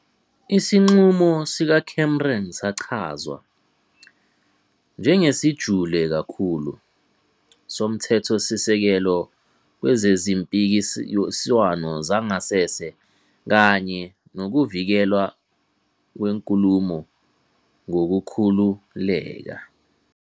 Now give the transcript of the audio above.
Isinqumo sikaCameron sachazwa "njengesijule kakhulu" soMthethosisekelo kwezezimpikiswano zangasese kanye nokuvikelwa kwenkulumo ngokukhululeka.